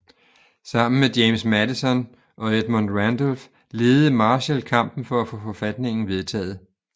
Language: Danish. Sammen med James Madison og Edmund Randolph ledede Marshall kampen for at få forfatningen vedtaget